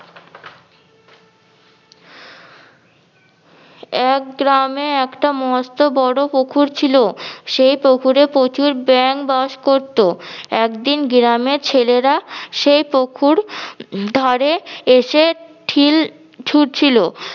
এক গ্রামে একটা মস্ত বড় পুকুর ছিল। সেই পুকুরে প্রচুর ব্যাঙ বাস করতো। একদিন গ্রামে ছেলেরা সেই পুকুর ধারে এসে ঠিল ছুড়ছিল